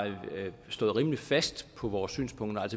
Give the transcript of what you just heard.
stået rimelig fast på vores synspunkter